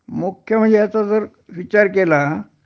मुख्य म्हणजे ह्याचा जर विचार केला